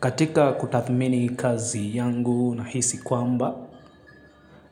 Katika kutathmini kazi yangu nahisi kwamba